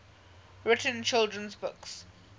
written children's books